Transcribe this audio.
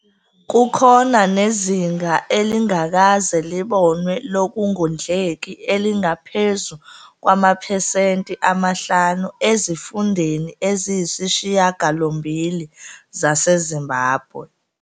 Kukhona nezinga elingakaze libonwe lokungondleki elingaphezu kwamaphesenti amahlanu ezifundeni eziyisishiyagalombili zaseZimbabwe.